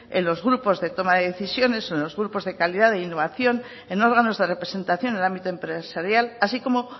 en los grupos de toma de decisiones o en los grupos de calidad e innovación en órganos de representación en el ámbito empresarial así como